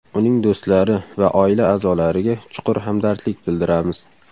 Uning do‘stlari va oila a’zolariga chuqur hamdardlik bildiramiz.